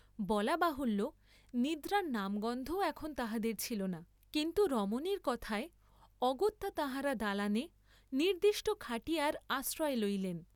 বলা বাহুল্য, নিদ্রার নাম গন্ধও এখন তাঁহাদের ছিলনা, কিন্তু রমণীর কথায় অগত্যা তাঁহারা দালানে নির্দ্দিষ্ট খাটিয়ার আশ্রয় লইলেন।